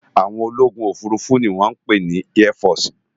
Áwòn ólógún ófúrúfú ni wòn pé ni èfòsi